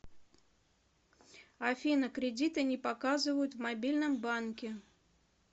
афина кредиты не показывают в мобильном банке